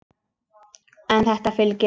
En þetta fylgir.